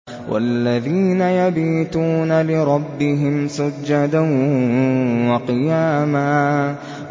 وَالَّذِينَ يَبِيتُونَ لِرَبِّهِمْ سُجَّدًا وَقِيَامًا